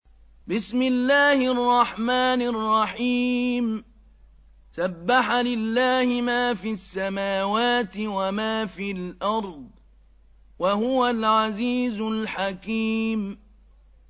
سَبَّحَ لِلَّهِ مَا فِي السَّمَاوَاتِ وَمَا فِي الْأَرْضِ ۖ وَهُوَ الْعَزِيزُ الْحَكِيمُ